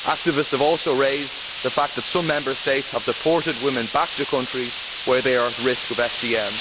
Activists have also raised the fact that some Member States have deported women back to countries where they are at risk of FGM.